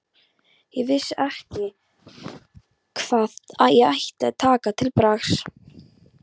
Ég vissi ekki hvað ég ætti að taka til bragðs.